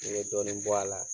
Ne be dɔɔnin bɔ a la